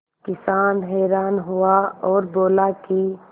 किसान हैरान हुआ और बोला कि